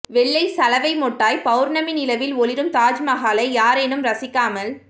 வெள்ளைச் சலவை மொட்டாய் பவுர்ணமி நிலவில் ஒளிரும் தாஜ்மகாலை யாரேனும் ரசிக்காமல்